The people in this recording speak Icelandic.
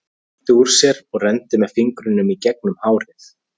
Hann rétti úr sér og renndi með fingrunum í gegnum hárið.